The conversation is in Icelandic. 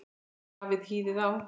Hafið hýðið á.